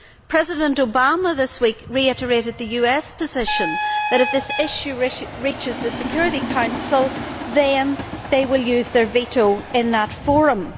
President Obama this week reiterated the US position that if this issue reaches the Security Council they will use their veto in that forum.